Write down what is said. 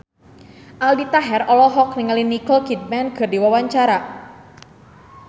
Aldi Taher olohok ningali Nicole Kidman keur diwawancara